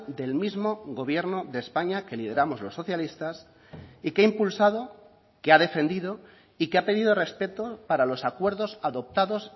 del mismo gobierno de españa que lideramos los socialistas y que ha impulsado que ha defendido y que ha pedido respeto para los acuerdos adoptados